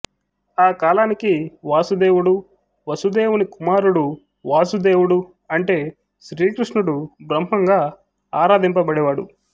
ఆ కాలానికి వాసుదేవుడు వసుదేవుని కుమారుడు వాసుదేవుడు అంటే శ్రీకృష్ణుడు బ్రహ్మం గా ఆరాధింపబడేవాడు